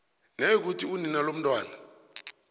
nayikuthi unina lomntwana